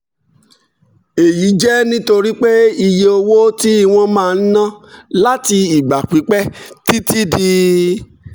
èyí jẹ́ nítorí pé iye owó tí wọ́n máa ń ná láti ìgbà pípẹ́ (títí di